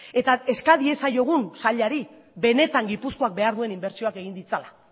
eta eska diezaiegun sailari benetan gipuzkoak behar dituen inbertsioak egin dezala